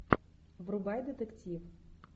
врубай детектив